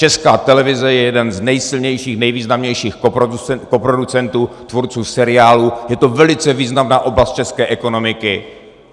Česká televize je jeden z nejsilnějších, nejvýznamnějších koproducentů, tvůrců seriálů, je to velice významná oblast české ekonomiky.